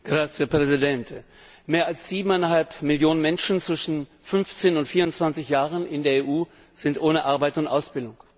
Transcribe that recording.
Frau Präsidentin! Mehr als 7,5 Millionen Menschen zwischen 15 und 24 Jahren in der EU sind ohne Arbeit und Ausbildung.